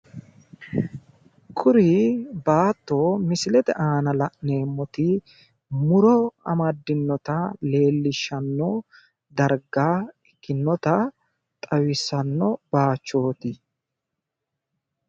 kuri baatto misilete aana la'neemmoti muro amaddinota leellishshanno darga ikkinnota xawissanno bayichooti